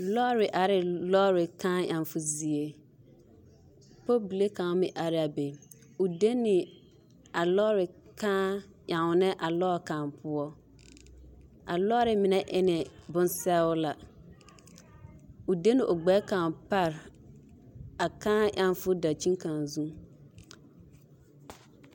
Lɔɔre arɛɛ lɔɔre kãã emmo zie, pɔlbili kaŋ meŋ are la a be, o deni a lɔɔre kãã ennɛ a lɔɔre kaŋ poɔ, a lɔɔre mine e la bonsɔgelaa, o de la gbɛre kaŋ bare a kãã emmo dankyini.